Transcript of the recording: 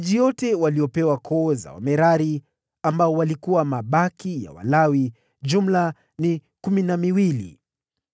Miji yote waliyopewa koo za Wamerari, waliokuwa mabaki ya Walawi, ilikuwa ni kumi na miwili.